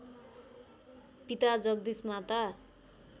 पिता जगदीश माता